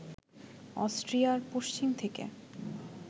অস্ট্রিয়ার পশ্চিম থেকে